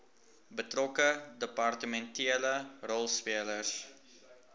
betrokke departementele rolspelers